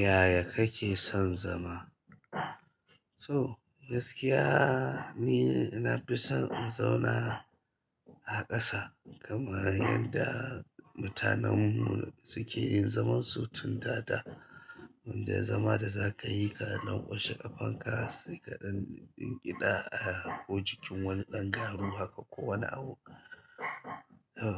Yaya kake son zama? So gaskiya ni na fi son in zauna a ƙasa kamar yadda mutanenmu suke yin zaman su tun dada. Wannan zaman da za ka yi ka nan washi a fanka sai kaɗaɗɗen gida ko jikin wani ɗan garu haka ko wani abu.